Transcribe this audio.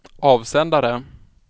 avsändare